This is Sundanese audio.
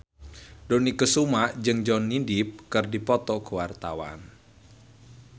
Dony Kesuma jeung Johnny Depp keur dipoto ku wartawan